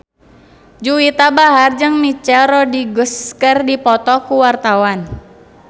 Juwita Bahar jeung Michelle Rodriguez keur dipoto ku wartawan